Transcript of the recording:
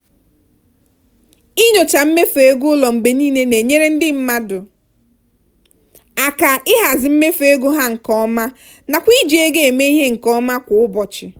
inyocha mmefu ego ụlọ mgbe niile na-enyere ndị mmadụ aka ịhazi mmefu ego ha nke ọma nakwa iji ego eme ihe nke ọma kwa ụbọchị.